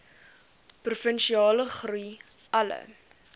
provinsiale groei alle